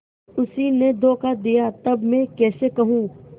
उसी ने धोखा दिया तब मैं कैसे कहूँ